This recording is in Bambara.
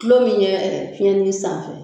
Tulo min yɛ fiyɛnni sanfɛ